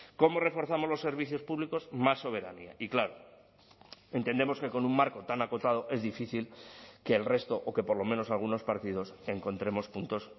cómo reforzamos los servicios públicos más soberanía y claro entendemos que con un marco tan acotado es difícil que el resto o que por lo menos algunos partidos encontremos puntos